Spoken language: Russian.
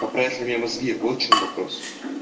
поправят ли мне мозги вот в чем вопрос